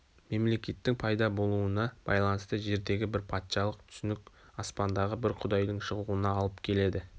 мемлекеттің пайда болуына байланысты жердегі бір патшалық түсінік аспандағы бір құдайдың шығуына алып келеді